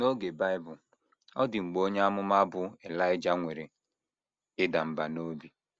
N’oge Bible, ọ dị mgbe onye amụma bụ́ Elaịja nwere ịda mbà n’obi.